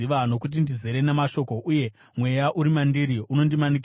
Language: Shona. Nokuti ndizere namashoko, uye mweya uri mandiri unondimanikidza;